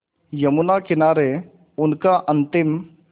यमुना किनारे उनका अंतिम